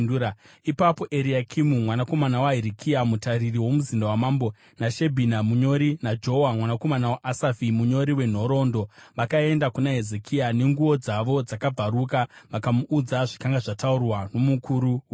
Ipapo Eriakimu mwanakomana waHirikia mutariri womuzinda wamambo, naShebhina munyori, naJoa mwanakomana waAsafi munyori wenhoroondo vakaenda kuna Hezekia, nenguo dzavo dzakabvaruka, vakamuudza zvakanga zvataurwa nomukuru wehondo.